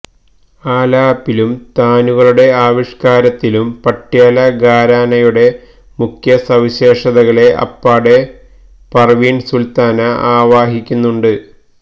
ആലാപിലും താനുകളുടെ ആവിഷ്കാരത്തിലും പട്യാല ഘരാനയുടെ മുഖ്യസവിശേഷതകളെ അപ്പാടെ പർവീൺ സുൽത്താന ആവാഹിക്കുന്നുണ്ട്